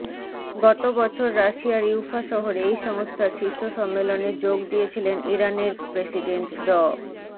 গত বছর রাশিয়ার ইউফা শহরে এই সংস্থার শীর্ষ সম্মেলনে যোগ দিয়েছিলেন ইরানের প্রসিডেন্ট ড